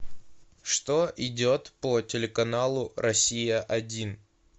что идет по телеканалу россия один